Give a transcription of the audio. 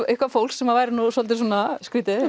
eitthvað fólk sem væri svolítið skrýtið